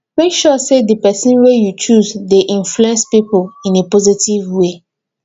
make sure say di persin wey you choose de influence pipo in a positive way